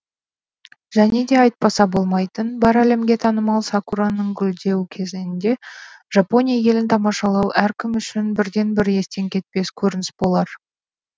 және де айтпаса болмайтын бар әлемге танымал сакураның гүлдеу кезеңінде жапония елін тамашалау әркім үшін бірден бір естен кетпес көрініс болар